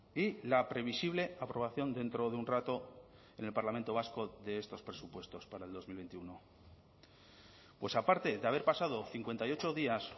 y la previsible aprobación dentro de un rato en el parlamento vasco de estos presupuestos para el dos mil veintiuno pues aparte de haber pasado cincuenta y ocho días